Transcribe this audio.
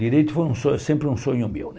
Direito foi um so sempre um sonho meu, né?